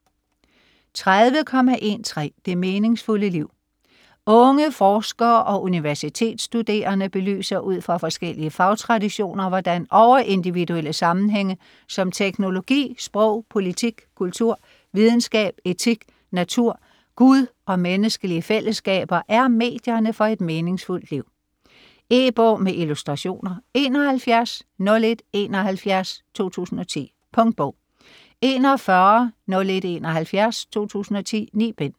30.13 Det meningsfulde liv Unge forskere og universitetsstuderende belyser ud fra forskellige fagtraditioner, hvordan over-individuelle sammenhænge som teknologi, sprog, politik, kultur, videnskab , etik, natur, Gud og menneskelige fællesskaber er medierne for et meningsfuldt liv. E-bog med illustrationer 710171 2010. Punktbog 410171 2010. 9 bind.